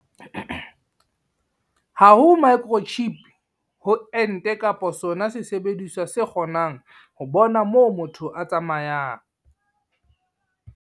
Ha ho microchip ho ente kapa sona sesebediswa se kgonang ho bona moo motho a tsamayang.